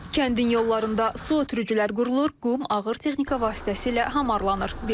Kəndin yollarında su ötürücülər qurulur, qum ağır texnika vasitəsilə hamarlanır.